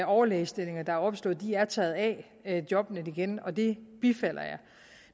overlægestillinger der er opslået er taget af jobnet igen og det bifalder jeg